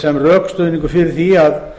sem rökstuðningur fyrir því að